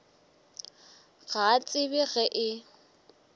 ga a tsebe ge e